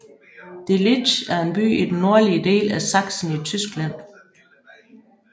Delitzsch er en by i den nordlige del af Sachsen i Tyskland